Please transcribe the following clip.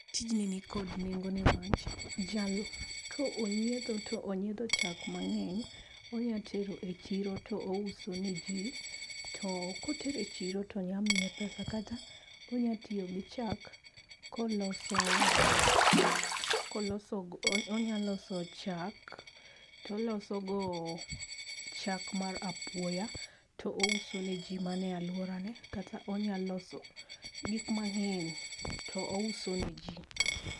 Tijni nikod nengo niwach jal, ka onyietho tonyiedho chak mangeny onya tero e chiro to ouso ne jii to kotero e chiro to nya miye pesa kata onya tiyo gi chak koloso, koloso, onya loso chak toloso go chak mar apuoya touso ne jii mana e aluora ne kata onya loso gik mangeny to ouso ne jii